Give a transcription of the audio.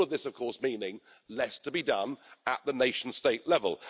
All of this, of course, meaning less to be done at the nation state level.